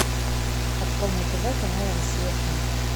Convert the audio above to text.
открой на тв канал россия к